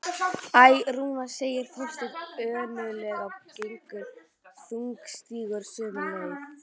Æ, Rúna sagði Þorsteinn önuglega og gekk þungstígur sömu leið.